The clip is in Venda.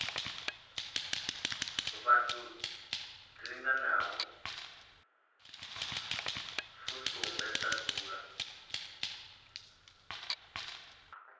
vhathu dzilinganaho fusumbe dza dzula